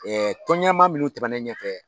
Ɛ tɔnɲɛmaa minnu tɛmɛna ne ɲɛfɛ